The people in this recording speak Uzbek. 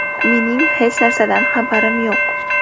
Mening hech narsadan xabarim yo‘q.